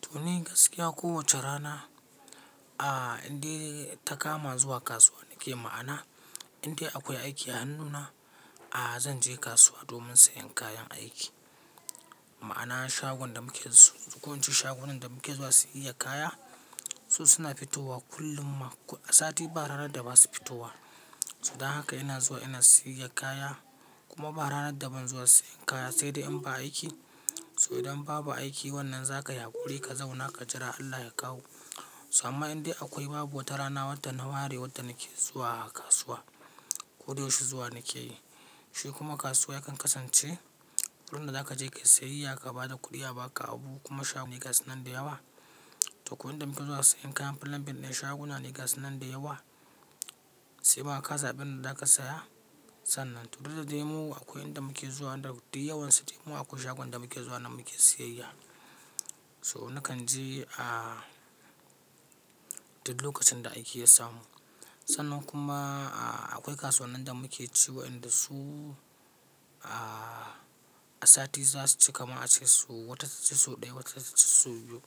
To ni gaskiya kowace rana inde ta kama zuwa kasuwa nake ma'ana inda akwai aiki a hannuna zan je kasuwa domin sayan kayan aiki. Ma'ana shagon da muke dasu ko ince shagunan da muke zuwa siyiya kaya su suna fitowa kullun ma a sati ba ranar da ba su fitowa. Dan haka ina zuwa ina siyiya kaya kuma ba ranar da ban zuwa sayan kaya sai dai in ba aiki. So idan babu aiki wannan za ka yi haƙuri ka zauna ka jira Allah ya kawo. So amma indai akwai babu wata rana wadda na ware wadda nake zuwa kasuwa. Ko da yaushe zuwa nake yi. Shi kuma kasuwa yakan kasance wurin da za ka je kayi siyayya ka ba da kuɗiya ba ka abu kuma shagunan gasu nan da yawa. To ko inda muke zuwa sayen kayan plumbing dai shaguna ne gasu nan da yawa. Sai ma ka zabi inda za ka saya sannan. To duk da dai mu akwai inda muke zuwa wanda duk yawansu dai mu akwai shagunan da muke zuwa nan muke siyayya. So nakan je duk lokacin da aiki ya samu. Sannan kuma akwai kasuwannin da muke ciwa inda su a sati za su ci kamar ace so wata ta suci sau ɗaya wata ta ci sau biyu.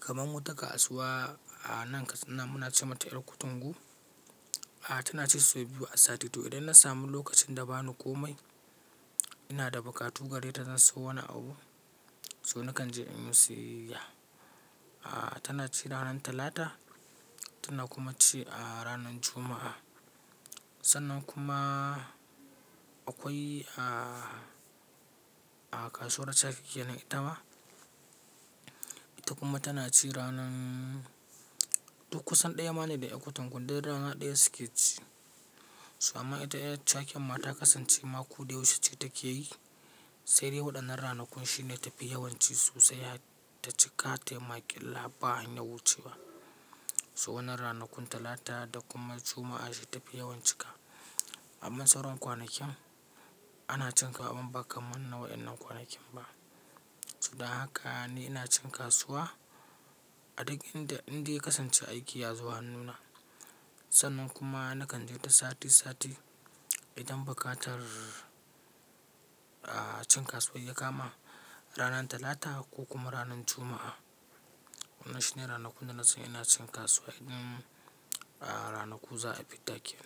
Kaman wata kasuwa a nan Katsina muna ce mata yar Kutungu tana ci sau biyu a sati. To idan na samu lokacin da ba ni komai ina da bukatu gare ta zan sayo wani abu. So nakan je in in siyayya. Tana ci ranar Talata tana kuma ci a ranar Juma'a. Sannan kuma akwai kasuwar Chake ke nan. Itama ita kuma tana ci ranar duk kusan ɗaya ma ne da yar kutungun duk rana ɗaya suke ci. So amma ita yar Chaken ma ta kasance ma koh da yaushe ce take yi. Sai dai waɗan nan ranakun shi ne tafi yawan ci sosai har ta cika tayi makilla ba hanyar wucewa. Wannan ranakun Talata da kuma Juma'a shi tafi yawan cika. Amma sauran kwanakin ana cinta amma ba kamar na wa innan kwanakin ba. Dan haka ni ina cin kasuwa a duk inda inde ya kasance aiki ya zo hannuna. Sannan kuma nakan je ta sati sati idan bukatar cin kasuwa ya kama ranar Talata ko kuma ranar Juma'a. Waɗannan shi ne ranakun da na san ina cin kasuwa idan ranaku za a fita aiki.